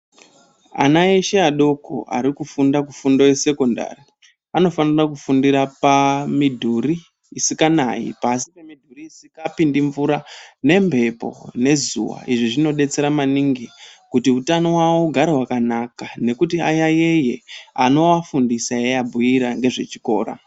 Ana eshe adoko arikufunda kufondo yesekondari vanofanira kufundira pamidhuri isikanayi Pasi pemidhuru isikapindi mvura nemhepo nezuva izvi zvinobestsera maningi kuti hutano hwawo ugare wakanaka nekuti ayayeye vanovafundisa eiabhuira ngezvechikora .